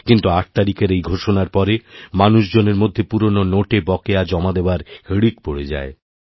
কিন্তু আট তারিখের এই ঘোষণার পরে মানুষজনের মধ্যে পুরনো নোটে বকেয়া জমাদেওয়ার হিড়িক পড়ে যায়